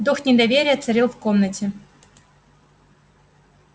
дух недоверия царил в комнате